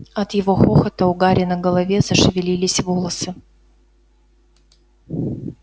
от его хохота у гарри на голове зашевелились волосы